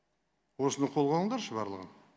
осыны қолға алыңдаршы барлығын